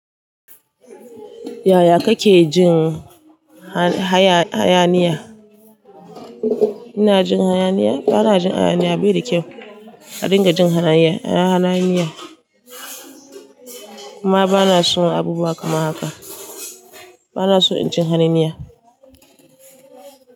Yaya kake jin haya hayaniya? Ina jin hayaniya? Bana jin hayaniya bai da kyau. A dinga jin hayaniya, hayaniya. Amma bana son abubuwa kamar haka. Bana son in ji hayaniya.